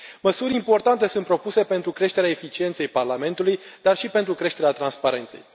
Măsuri importante sunt propuse pentru creșterea eficienței Parlamentului, dar și pentru creșterea transparenței.